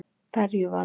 Ferjuvaði